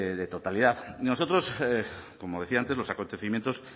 de totalidad nosotros como decía antes los acontecimientos